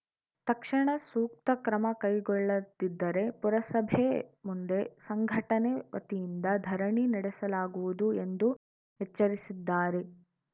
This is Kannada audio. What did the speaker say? ತಕ್ಷಣ ಸೂಕ್ತ ಕ್ರಮ ತೆಗೆದುಕೊಳ್ಳದಿದ್ದರೆ ಪುರಸಭೆ ಮುಂದೆ ಸಂಘಟನೆ ವತಿಯಿಂದ ಧರಣಿ ನಡೆಸಲಾಗುವುದು ಎಂದು ಎಚ್ಚರಿಸಿದ್ದಾರೆ